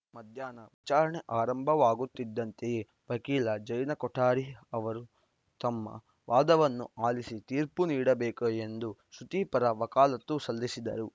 ಮಧ್ಯಾಹ್ನ ವಿಚಾರಣೆ ಆರಂಭವಾಗುತ್ತಿದ್ದಂತೆಯೇ ವಕೀಲ ಜೈನಾ ಕೊಠಾರಿ ಅವರು ತಮ್ಮ ವಾದವನ್ನೂ ಆಲಿಸಿ ತೀರ್ಪು ನೀಡಬೇಕು ಎಂದು ಶ್ರುತಿ ಪರ ವಕಾಲತ್ತು ಸಲ್ಲಿಸಿದರು